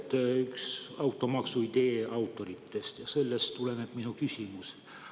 Te olete üks automaksu idee autoritest ja sellest tuleneb minu küsimus.